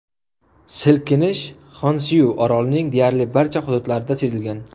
Silkinish Xonsyu orolining deyarli barcha hududlarida sezilgan .